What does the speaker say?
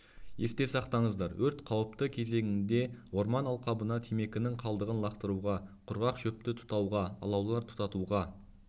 есте сақтаңыздар өрт қауіпті кезеңінде орман алқабына темекінің қалдығын лақтыруға құрғақ шөпті тұтауға алаулар тұтатуға